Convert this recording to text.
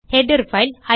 header file